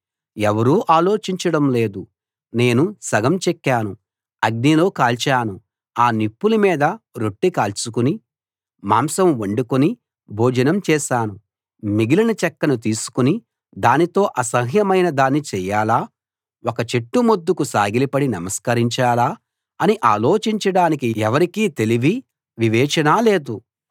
ఎవరూ ఆలోచించడం లేదు నేను సగం చెక్కను అగ్నిలో కాల్చాను ఆ నిప్పుల మీద రొట్టె కాల్చుకుని మాంసం వండుకుని భోజనం చేశాను మిగిలిన చెక్కను తీసుకుని దానితో అసహ్యమైన దాన్ని చేయాలా ఒక చెట్టు మొద్దుకు సాగిలపడి నమస్కరించాలా అని ఆలోచించడానికి ఎవరికీ తెలివి వివేచన లేదు